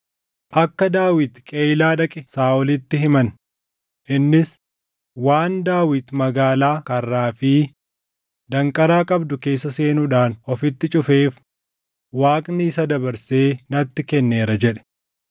Akka Daawit Qeyiilaa dhaqe Saaʼolitti himan; innis, “Waan Daawit magaalaa karraa fi danqaraa qabdu keessa seenuudhaan ofitti cufeef Waaqni isa dabarsee natti kenneera” jedhe.